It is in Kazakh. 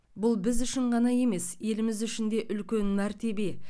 бұл біз үшін ғана емес еліміз үшін де үлкен мәртебе